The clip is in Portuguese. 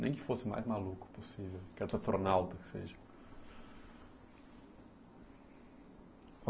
Nem que fosse o mais maluco possível, quero ser astronauta, que seja.